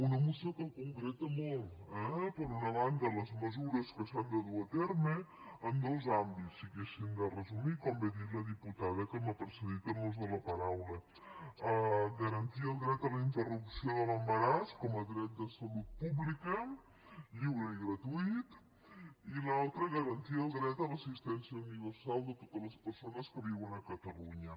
una moció que concreta molt per una banda les mesures que s’han de dur a terme en dos àmbits si haguéssim de resumir com bé ha dit la diputada que m’ha precedit en l’ús de la paraula garantir el dret a la interrupció de l’embaràs com a dret de salut pública lliure i gratuït i l’altra garantir el dret a l’assistència universal de totes les persones que viuen a catalunya